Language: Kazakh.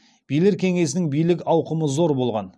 билер кеңесінің билік ауқымы зор болған